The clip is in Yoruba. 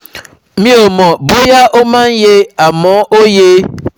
Mi ò mọ̀ bóyá ó máa yè é, àmọ́ ó yè é